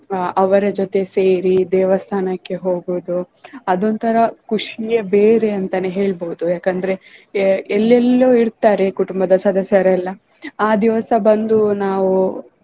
ಆಹ್ ಅವರ ಜೊತೆ ಸೇರಿ ದೇವಸ್ಥಾನಕ್ಕೆ ಹೋಗುದು ಅದೊಂಥರಾ ಖುಷಿಯೇ ಬೇರೆ ಅಂತನೆ ಹೇಳ್ಬೋದು ಏಕೆಂದ್ರೆ ಆಹ್ ಎಲ್ಲೇಲ್ಲೊ ಇರ್ತಾರೆ ಕುಟುಂಬದ ಸದಸ್ಯರೆಲ್ಲ ಆ ದಿವಸ ಬಂದು ನಾವು